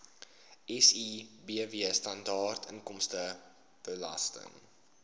sibw standaard inkomstebelasting